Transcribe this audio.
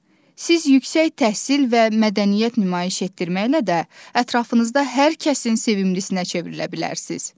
Siz yüksək təhsil və mədəniyyət nümayiş etdirməklə də ətrafınızda hər kəsin sevimlisinə çevrilə bilərsiniz.